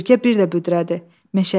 Ürgə bir də büdrədi.